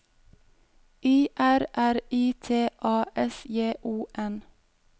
I R R I T A S J O N